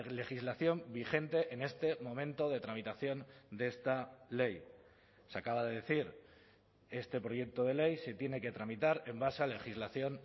legislación vigente en este momento de tramitación de esta ley se acaba de decir este proyecto de ley se tiene que tramitar en base a legislación